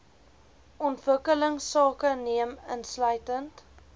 ontwikkelingsake neem insluitend